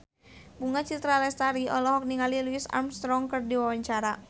Bunga Citra Lestari olohok ningali Louis Armstrong keur diwawancara